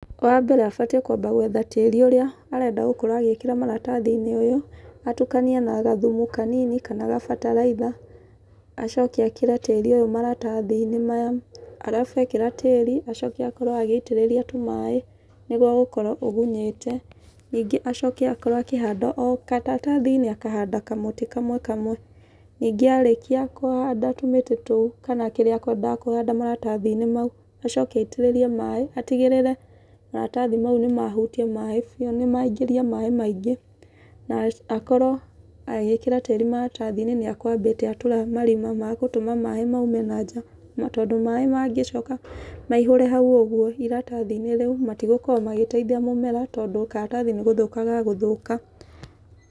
Wa mbere abatiĩ kwamba gwetha tĩrĩ ũrĩa arenda gũkorwo agĩkĩra maratathi-inĩ ũyũ, atukanie na gathumu kanini, kana gabataraitha. Acoke ekĩre tĩrĩ ũyũ maratathi-inĩ maya. Arabu ekĩra tĩrĩ, acoke akorwo agĩitĩrĩria tũmaĩ, nĩguo gũkorwo ũgunyĩte. Ningĩ acoke akorwo akĩhanda o karatathi-inĩ, akahanda kamũtĩ kamwe kamwe. Ningĩ arĩkia kũhanda tũmĩtĩ tũu, kana kĩrĩa akwendaga kũhanda maratathi-inĩ mau, acoke aitĩrĩrie maĩ, atigĩrĩre maratathi mau nĩ mahutia maĩ, nĩ maingĩria maĩ maingĩ. Na akorwo agĩkĩra tĩri maratathi-inĩ nĩ akwambĩte atũra marima magũtũma maĩ mau maume na nja. Tondũ maĩ mangĩcoka maihũre hau ũguo iratathi-inĩ rĩu, matigũkorwo magĩteithia mũmera, tondũ karatathi nĩ gũthũka gegũthũka.